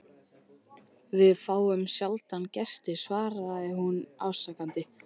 Við fáum sjaldan gesti svaraði hún afsakandi.